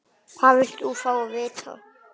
Hvað viltu fá að vita?